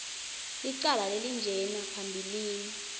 licala lelinjena phambilini